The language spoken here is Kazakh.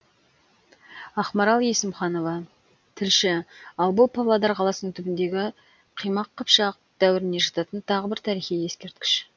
ақмарал есімханова тілші ал бұл павлодар қаласының түбіндегі қимақ қыпшақ дәуіріне жататын тағы бір тарихи ескерткіш